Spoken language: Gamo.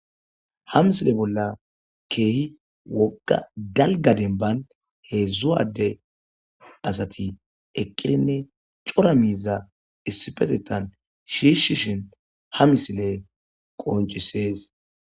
ha misile bolla keehi woqa dalga denban hezhu ade asati eqqirinne cora miiza issipetetan shiishishin ha misile qoncisees